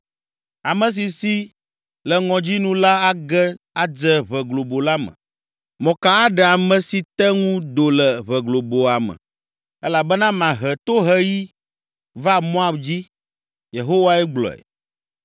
“Ame si si le ŋɔdzi nu la age adze ʋe globo la me, mɔka aɖe ame si te ŋu do le ʋe globoa me, elabena mahe toheɣi va Moab dzi.” Yehowae gblɔe.